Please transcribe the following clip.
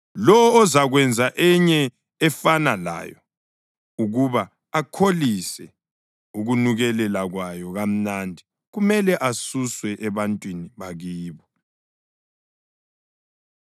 Lowo ozakwenza enye efana layo ukuba akholise ukunukelela kwayo kamnandi, kumele asuswe ebantwini bakibo.”